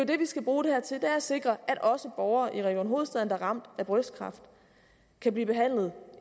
det vi skal bruge det her til nemlig at sikre at også borgere i region hovedstaden der er ramt af brystkræft kan blive behandlet